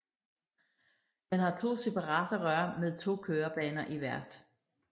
Den har to separate rør med to kørebaner i hvert